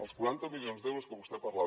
els quaranta milions d’euros que vostè parlava